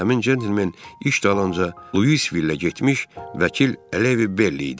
Həmin centlmen iş dalınca Luisvillə getmiş vəkil Alevyev Berrli idi.